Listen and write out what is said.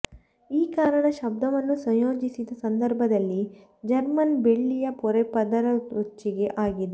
ಈ ಕಾರಣ ಶಬ್ದವನ್ನು ಸಂಯೋಜಿಸಿದ ಸಂದರ್ಭದಲ್ಲಿ ಜರ್ಮನ್ ಬೆಳ್ಳಿಯ ಪೊರೆ ಪದರೊಚ್ಚಿಕೆ ಆಗಿದೆ